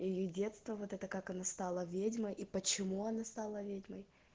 или детство вот это как она стала ведьмой и почему она стала ведьмой